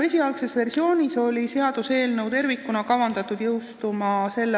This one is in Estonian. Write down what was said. Esialgse versiooni järgi oli seaduseelnõu tervikuna kavandatud jõustuma s.